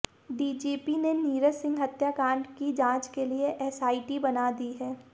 DGP ने नीरज सिंह हत्याकांड की जांच के लिए एसआईटी बना दी है